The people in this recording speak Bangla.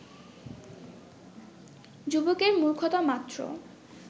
যুবকের মূর্খতামাত্র